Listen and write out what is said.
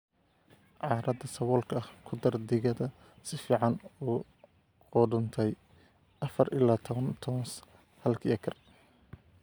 "Carrada saboolka ah, ku dar digada si fiican u qudhuntay (afar ilaa tawan tons halkii acre)."